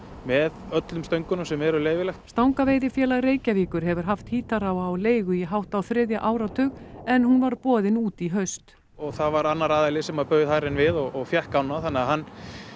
með öllum stöngunum sem eru leyfilegar stangaveiðifélag Reykjavíkur hefur haft Hítará á leigu í hátt á þriðja áratug en hún var boðin út í haust það var annar aðili sem bauð hærri en við og fékk ána og þannig að hann